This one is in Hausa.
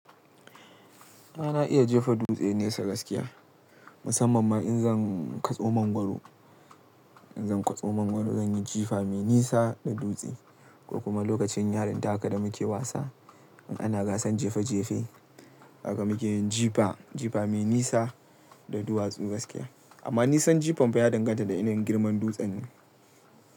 A na iya jefa dutse nesa gaskiya, musamman ma in zan katso mangwaro. In zan katso mangwaro zan yi jifa mai nisa da dutse ko kuma lokacin yarinta haka da muke wasa in ana gasan jefa jefe haka muke yin jifa, jifa mai nisa da duwatsu gaskiya. Amma nisan jifan fa ya danganta da yanayin girman dutsen ne.